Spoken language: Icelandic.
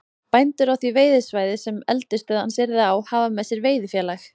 Bændur á því veiðisvæði, sem eldisstöð hans yrði á, hafa með sér veiðifélag